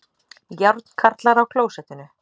Járnkarlar á klósettinu